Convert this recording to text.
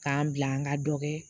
K'an bila an ka dɔkɛ